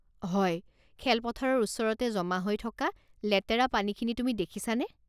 হয়, খেলপথাৰৰ ওচৰতে জমা হৈ থকা লেতেৰা পানীখিনি তুমি দেখিছানে?